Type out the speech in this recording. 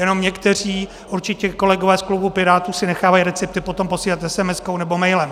Jenom někteří, určitě kolegové z klubu Pirátů, si nechávají recepty potom posílat esemeskou nebo mailem.